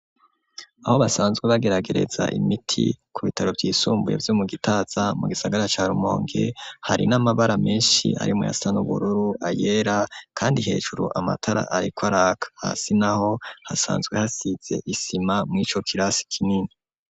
Aho basanzwe bageragereza imiti ku bitaro vyisumbuye vyo mu Gitaza mu gisagara ca Rumonge hari n'amabara meshi arimwo ayasa n'ubururu ayera kandi hejuru amatara ariko araka hasi naho hasanzwe hasize isima murico kirasi kinini.